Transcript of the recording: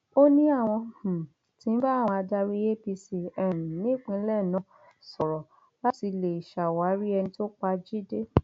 ó ní àwọn um tí ń bá àwọn adarí apc um nípínlẹ náà sọrọ láti lè ṣàwárí ẹni tó pa jíde